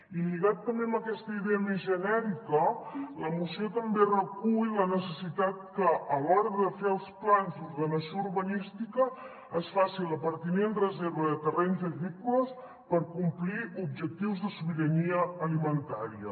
i lligada també amb aquesta idea més genèrica la moció també recull la necessitat que a l’hora de fer els plans d’ordenació urbanística es faci la pertinent reserva de terrenys agrícoles per complir objectius de sobirania alimentària